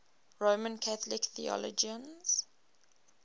roman catholic theologians